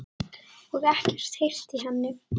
Og ekkert heyrt í henni?